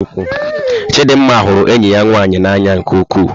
Chidinma hụrụ enyi ya nwanyị n'anya nke ukwuu.